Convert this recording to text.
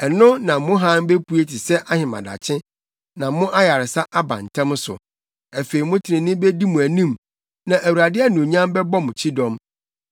Ɛno na mo hann bepue te sɛ ahemadakye, na mo ayaresa aba ntɛm so; afei mo trenee bedi mo anim, na Awurade anuonyam bɛbɔ mo kyidɔm.